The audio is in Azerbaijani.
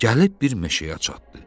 Gəlib bir meşəyə çatdı.